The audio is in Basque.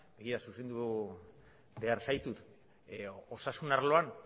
egia zuzendu behar zaitu osasun arloan